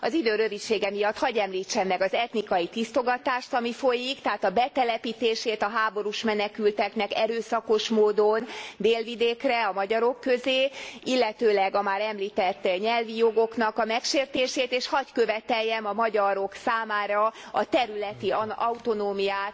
Az idő rövidsége miatt, hadd említsem meg az etnikai tisztogatást, ami folyik, tehát a betelepítését a háborús menekülteknek erőszakos módon Délvidékre, a magyarok közé, illetőleg a már említett nyelvi jogoknak a megsértését, és hadd követeljem a magyarok számára a területi autonómiát